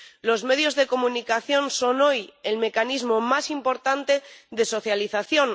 Los medios de comunicación son hoy el mecanismo más importante de socialización